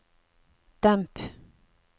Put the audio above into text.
demp